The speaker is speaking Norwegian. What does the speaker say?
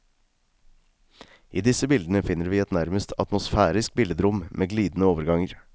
I disse bildene finner vi et nærmest atmosfærisk billedrom med glidende overganger.